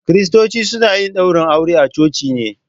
Kiristoci suna yin daurin aure a coci ne.